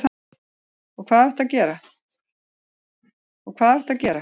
Og hvað áttu að gera?